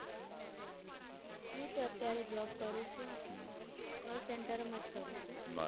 કરું છું હમ call center માં જ છું